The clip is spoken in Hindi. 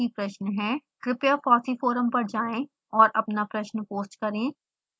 कृपया fossee forum पर जाएं और अपना प्रश्न पोस्ट करें